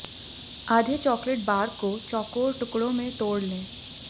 आधे chocolate bar को चौकोर टुकड़ों में तोड़ लें